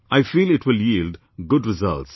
I feel it will yield good results